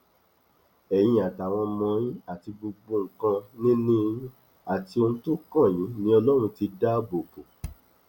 ẹyin àtàwọn ọmọ yín àti gbogbo nǹkanìní yín àti ohun tó kàn yín ni ọlọrun ti dáàbò bò